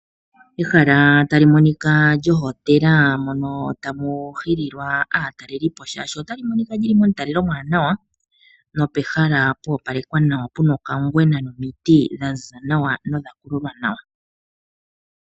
Ehala tali monika lyohotela mono tamu hililwa aatalelipo shaashi otali monika lyili momutalelo omuwanawa nopehala pwoopalekwa nawa puna okangwena nomiti dhaziza nawa nodha kululwa nawa.